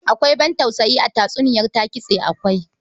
Akwai ban tausayi a tatsuniyar Ta-Kitse akwai.